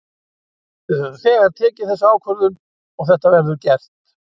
Við höfum þegar tekið þessa ákvörðun og þetta verður gert.